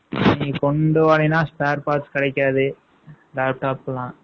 நீ கொண்டு போனீன்னா, spare parts கிடைக்காது. laptop கெல்லாம்.